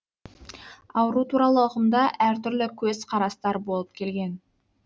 ауру туралы ұғымда әр түрлі көз қарастар болып келген